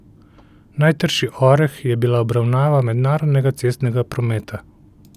Najtrši oreh je bila obravnava mednarodnega cestnega prometa.